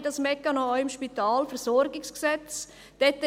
Wir haben diesen Mechanismus auch im Spitalversorgungsgesetz (SpVG).